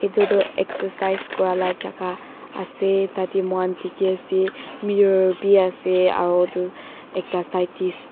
etu toh exercise kuri laa jaka ase tate moihan dekhi ase mirror bhi ase aro etu ekta side tey--